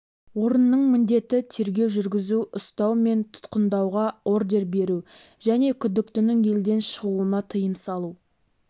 орынның міндеті тергеу жүргізу ұстау мен тұтқындауға ордер беру және күдіктінің елден шығуына тыйым салу